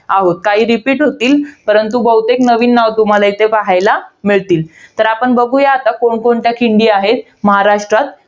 आहोत. काही repeat होतील. परंतु, बहुतेक नवीन नावं तुम्हाला इथे पाहायला मिळतील. तर आता बघूया आपण, कोणकोणत्या खिंडी आहेत इथे महाराष्ट्रात.